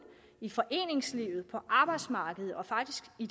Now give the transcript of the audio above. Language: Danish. i foreningslivet på arbejdsmarkedet og faktisk i